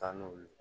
Taa n'o ye